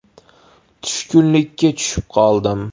“Tushkunlikka tushib qoldim”.